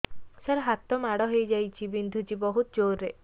ସାର ହାତ ମାଡ଼ ହେଇଯାଇଛି ବିନ୍ଧୁଛି ବହୁତ ଜୋରରେ